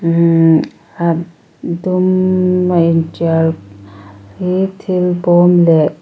mmm a dum a initial hi thil bawmleh--